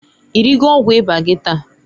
I rigo ọgwụ ịba gi taa?